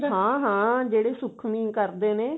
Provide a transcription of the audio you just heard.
ਹਾਂ ਹਾਂ ਜਿਹੜੇ ਸੁੱਖਵੀੰ ਕਰਦੇ ਨੇ